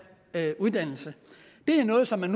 uddannelse det er noget som man